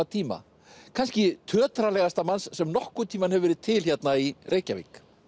tíma kannski manns sem nokkurn tímann hefur verið til hérna í Reykjavík